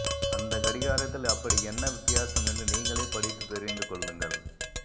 அந்த கடிகாரத்தில் அப்படி என்ன வித்தியாசம் என்று நீங்களே படித்து தெரிந்து கொள்ளுங்கள்